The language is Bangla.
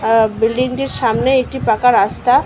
আ বিল্ডিং -এর সামনে একটি পাকা রাস্তা ।